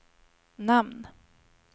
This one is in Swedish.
namn